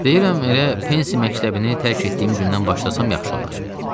Deyirəm elə Pensi məktəbini tərk etdiyim gündən başlasam yaxşı olar.